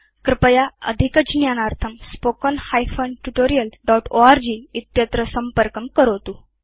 कृपया अधिकज्ञानार्थं contactspoken tutorialorg संपर्कं करोतु